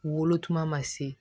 Wolo tuma ma se